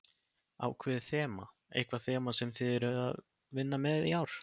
Ákveðið þema, eitthvað þema sem þið eruð að vinna með í ár?